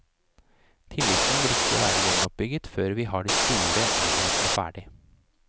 Tilliten vil ikke være gjenoppbygget før vi har de store enhetene ferdig.